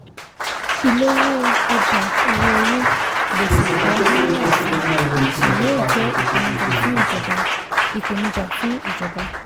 ìlówó ọjà owó orí gbèsè pọ̀ naira sì ṣí yóò jẹ́ ìpèníjà fún ìjọba ìpèníjà fún ìjọba